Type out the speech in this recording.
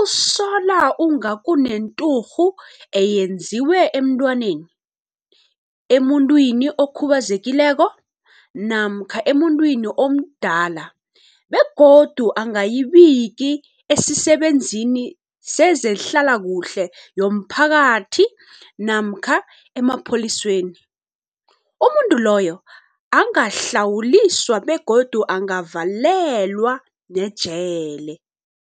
usola unga kunenturhu eyenziwe emntwaneni, emuntwini okhubazekileko namkha emuntwini omdala begodu angayibiki esisebenzini sezehlalakuhle yomphakathi namkha emapholiseni, umuntu loyo angahlawuliswa begodu angavalelwa nejele.